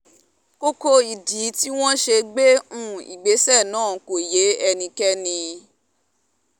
kókó ìdí tí wọ́n ṣe gbé um ìgbésẹ̀ náà kò yé ẹnikẹ́ni um